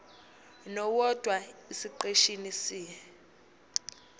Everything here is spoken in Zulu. nowodwa esiqeshini c